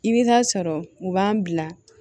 I bɛ taa sɔrɔ u b'an bila